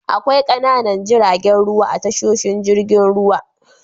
Akwai ƙananan jiragen ruwa a tashoshin jirgin ruwa.